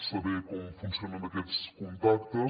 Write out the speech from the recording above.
saber com funcionen aquests contactes